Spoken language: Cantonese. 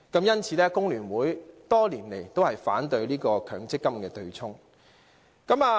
因此，工聯會多年來也反對強積金對沖安排。